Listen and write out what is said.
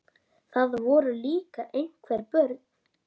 Það voru líka einhver börn.